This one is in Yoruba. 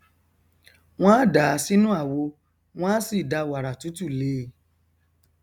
wọn a dàá sí inú àwo wọn a sì da wàrà tútù lé e